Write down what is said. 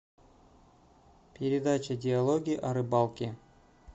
передача диалоги о рыбалке